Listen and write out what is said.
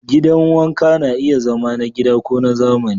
Gidan wanka na iya zama na gida ko na zamani.